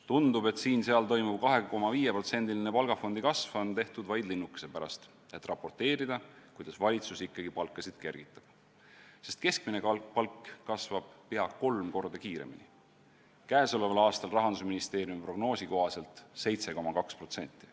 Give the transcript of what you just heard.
Tundub, et siin-seal toimuv 2,5%-line palgafondi kasv on tehtud vaid linnukese pärast, et raporteerida, kuidas valitsus ikkagi palkasid kergitab, sest keskmine palk kasvab pea kolm korda kiiremini, käesoleval aastal Rahandusministeeriumi prognoosi kohaselt 7,2%.